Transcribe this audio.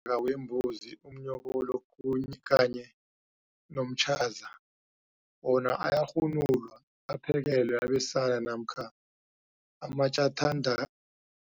ka wembuzi, umnyokolo, kuni kanye nomtjaza wona ayarhunulwa aphekelwe abesana namkha amatjathanda